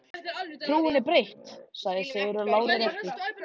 Trúin er breytt, sagði Sigurður lágri röddu.